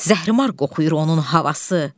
Zəhirmar qoxuyur onun havası.